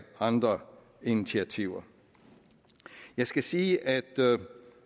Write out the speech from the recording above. andre initiativer jeg skal sige at